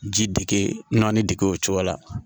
Ji dege naani dege o cogo la